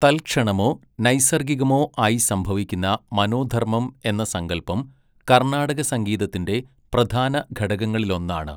തൽക്ഷണമോ നൈസർഗികമോ ആയി സംഭവിക്കുന്ന മനോധർമ്മം എന്ന സങ്കൽപം, കർണ്ണാടകസംഗീതത്തിൻ്റെ പ്രധാനഘടകങ്ങളിലൊന്നാണ്.